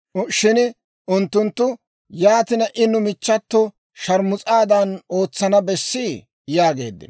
Shin unttunttu, «Yaatina I nu michchato sharmus'aadan ootsana bessii?» yaageeddino.